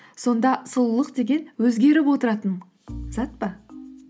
сонда сұлулық деген өзгеріп отыратын зат па